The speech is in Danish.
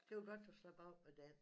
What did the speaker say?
Det var godt du slap af med den